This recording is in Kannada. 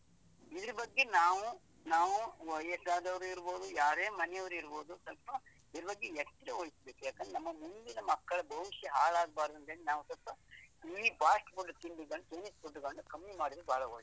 ಇದ್ರ ಬಗ್ಗೆ ನಾವು ನಾವು ವಯಸ್ಸಾದವರು ಇರ್ಬೋದು, ಯಾರೇ ಮನೆಯವರಿರ್ಬೋದು, ಸ್ವಲ್ಪ ಇದ್ರ ಬಗ್ಗೆ ಎಚ್ಚರವಹಿಸ್ಬೇಕು, ಯಾಕಂದ್ರೆ ನಮ್ಮ ಮುಂದಿನ ಮಕ್ಕಳ ಭವಿಷ್ಯ ಹಾಳಾಗ್ಬಾರ್ದು ಅಂತ ಹೇಳಿ ನಾವು ಸ್ವಲ್ಪ ಈ fast food ತಿಂದು chinese food ಬಂದು ಕಮ್ಮಿ ಮಾಡಿದ್ರೆ ಬಹಳ ಒಳ್ಳೆದು.